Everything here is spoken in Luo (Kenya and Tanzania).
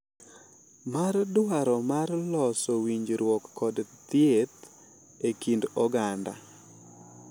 Mar dwaro mar loso winjruok kod thieth e kind oganda.